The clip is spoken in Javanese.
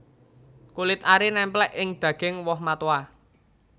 Kulit ari némplék ing daging woh matoa